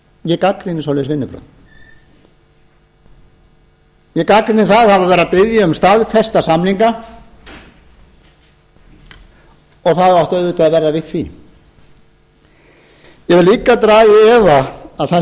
ég gagnrýni svoleiðis vinnubrögð ég gagnrýni að það var verið að biðja um staðfesta samninga og það átti auðvitað að verða við því ég vil líka draga í efa að það sé réttur ferill